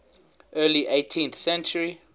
early eighteenth century